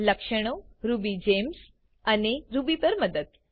લક્ષણો રુબીજેમ્સ અને રૂબી પર મદદ